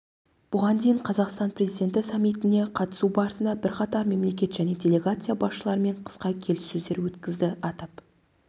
бұған дейін қазақстан президенті саммитіне қатысу барысында бірқатар мемлекет және делегация басшыларымен қысқа келіссөздер өткізді атап